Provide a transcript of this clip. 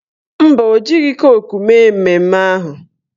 Mba, o jighị koku mee mmemme ahụ